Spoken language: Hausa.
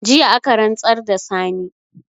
Jiya aka rantsar da Sani